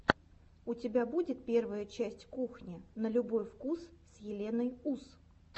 у тебя будет первая часть кухни на любой вкус с еленой ус